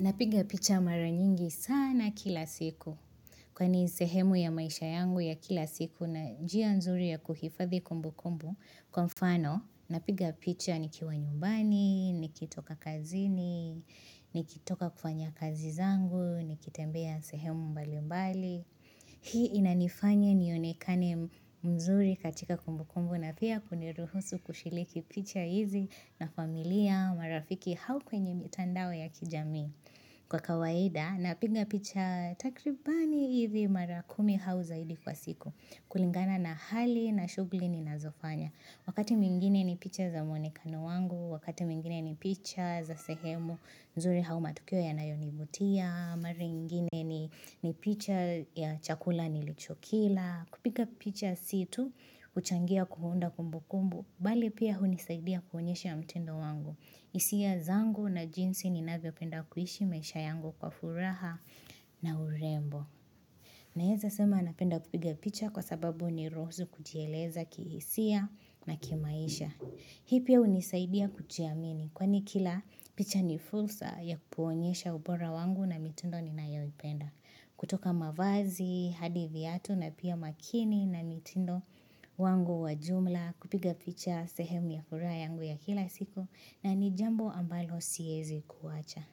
Napiga picha mara nyingi sana kila siku. Kwani ni sehemu ya maisha yangu ya kila siku na njia nzuri ya kuhifadhi kumbukumbu. Kwa mfano, napiga picha nikiwa nyumbani, nikitoka kazini, nikitoka kufanya kazi zangu, nikitembea sehemu mbali mbali. Hii inanifanya niunekane mzuri katika kumbukumbu na pia kuniruhusu kushiriki picha hizi na familia marafiki au kwenye mitandao ya kijamii kwa kawaida napiga picha takribani hizi mara kumi au zaidi kwa siku kulingana na hali na shughuli ninazofanya. Wakati mwingine ni picha za muonekano wangu, wakati mwingine ni picha za sehemu nzuri au matukio yanayonivutia, mara nyingine ni picha ya chakula nilichokila, kupika picha si tu huchangia kuunda kumbukumbu, bali pia hunisaidia kuonyesha mtindo wangu. Hisia zangu na jinsi ninavyopenda kuhishi maisha yangu kwa furaha na urembo. Naeza sema napenda kupiga picha kwa sababu huniruhusu kujieleza kihisia na kimaisha. Hii pia hunisaidia kuchiamini. Kwani kila picha ni fursa ya kukuonyesha ubora wangu na mitindo ninayoipenda. Kutoka mavazi, hadi viatu na pia makini na mitindo wangu wa jumla. Kupiga picha sehemu ya furaha yangu ya kila siku. Na ni jambo ambalo siezi kuwacha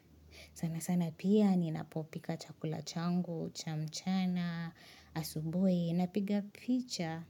sana sana pia ninapopika chakula changu, cha mchana, asubuhi napiga picha.